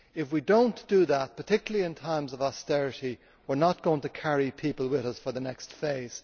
If we do not do that, particularly in times of austerity, we are not going to carry people with us for the next phase.